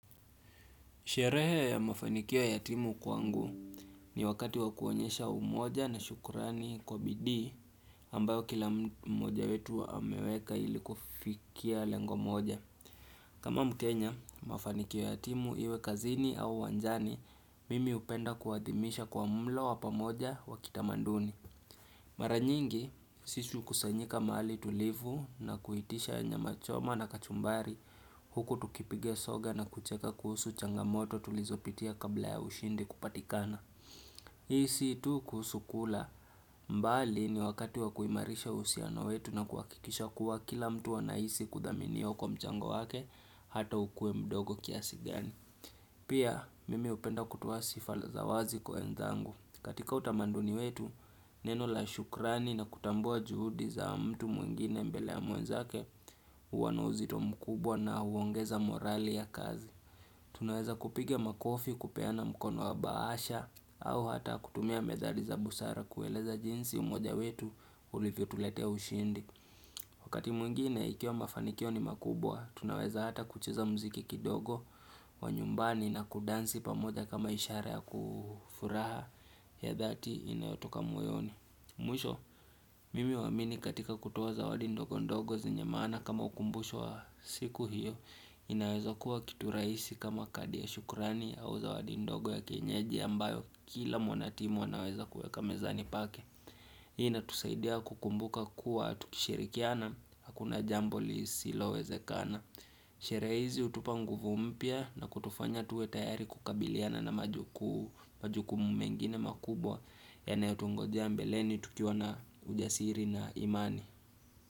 Sherehe ya mafanikolio yatimu kwangu ni wakati wakuonyesha umoja na shukrani kwa bidii ambayo kila mmoja wetu ameweka ilikufikia lengo mmoja. Kama mkenya, mafanikio yatimu iwe kazini au wanjani, mimi hupenda kuadhimisha kwa mlo wa pamoja wa kitamaduni. Mara nyingi sisi hukusanyika mahali tulivu na kuitisha nyama choma na kachumbari huku tukipiga soga na kucheka kuhusu changamoto tulizopitia kabla ya ushindi kupatikana. Ishi tu kuhusu kula mbali ni wakati wa kuimarisha uhusiona wetu na kuhakikisha kuwa kila mtu anaishi kudhaminiwa kwa mchango wake hata ukue mdogo kiasi gani. Pia mimi hupenda kutuo sifa za wazi kwa wenzangu. Katika utamaduni wetu, neno la shukrani na kutambua juhudi za mtu mwingine mbele ya mwenzake huwa na uzito mkubwa na huongeza morali ya kazi. Tunaweza kupiga makofi kupeana mkono wa bahasha au hata kutumia methali za busara kueleza jinsi umoja wetu ulivyo tuletea ushindi. Wakati mwingine ikiwa mafanikio ni makubwa, tunaweza hata kucheza mziki kidogo wa nyumbani na kudansi pamoja kama ishara ya kufuraha ya dhati inayotoka moyoni. Mwisho, mimi huamini katika kutuwo zawadi ndogo ndogo zenye maana kama ukumbusho wa siku hiyo, inaweza kuwa kitu rahisi kama kadi ya shukurani au zawadi ndogo ya kienyeji ambayo kila mwanatimu anaweza kuweka mezani pake. Hii inatusaidia kukumbuka kuwa tukishirikiana, hakuna jambo lisilo wezekana Sherea hizi hutupa nguvu mpya na kutufanya tuwe tayari kukabiliana na majukumu mengine makubwa Inayotungojea mbeleni tukiwa na ujasiri na imani.